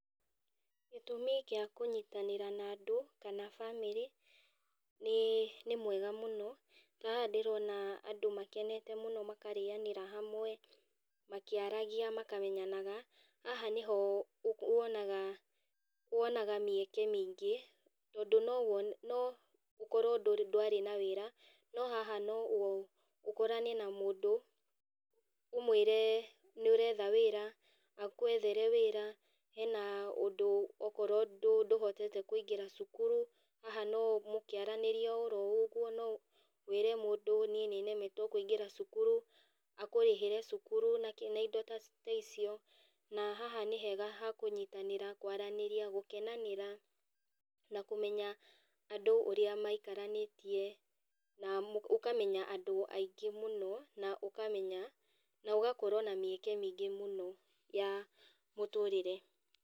Gĩtũmi kĩa kũnyitanĩra na andũ, kana bamĩrĩ nĩ, nĩ mwega mũno, ta haha ndĩrona andũ makenete mũno makarĩanĩra hamwe, makĩaragia makamenyanaga haha nĩho wonaga, wonaga mĩeke mĩingĩ tondũ no wone, no ũkorwo ndũ ndwarĩ na wĩra, no haha no ũkorane na mũndũ, ũmwĩre nĩ ũretha wĩra agwethere wĩra. Hena ũndũ okorwo ndũhotete kũingĩra cukuru, haha na mũkiaranĩrĩa o ũguo no wĩre mũndũ nĩ, nĩ nemetwo kũingĩra cukuru, akũrĩhĩre cukuru na indo taicio na haha nĩ hega ha kũnyitanĩra, kwaranĩria, gũkenanĩra na kũmenya andũ ũrĩa maikaranĩtie, na ũkamenya andũ aingĩ mũno na ũkamenya na ũgakorwo na mĩeke mĩingĩ mũno ya mũtũrĩre.